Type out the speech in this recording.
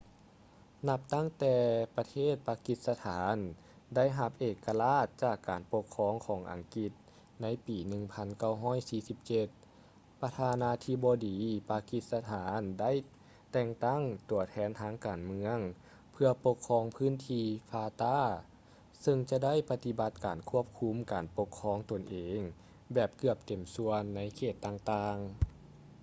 ນັບຕັ້ງແຕ່ປະເທດປາກິສະຖານໄດ້ຮັບເອກະລາດຈາກການປົກຄອງຂອງອັງກິດໃນປີ 1947 ປະທານາທິບໍດີປາກິສະຖານໄດ້ແຕ່ງຕັ້ງ ຕົວແທນທາງການເມືອງ ເພື່ອປົກຄອງພື້ນທີ່ fata ເຊິ່ງຈະໄດ້ປະຕິບັດການຄວບຄຸມການປົກຄອງຕົນເອງແບບເກືອບເຕັມສ່ວນໃນເຂດຕ່າງໆ